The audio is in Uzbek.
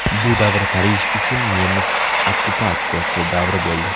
Bu davr Parij uchun nemis okkupatsiyasi davri bo‘ldi.